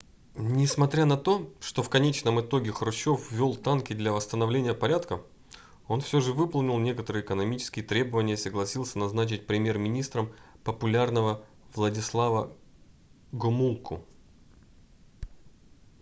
несмотря на то что в конечном итоге хрущев ввел танки для восстановления порядка он все же выполнил некоторые экономические требования и согласился назначить премьер-министром популярного владислава гомулку